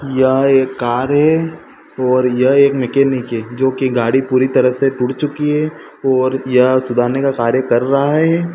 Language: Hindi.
यह एक कार है और यह एक मैकेनिक है जो कि गाड़ी पूरी तरह से टूट चुकी है और यह सुधारने का कार्य कर रहा है।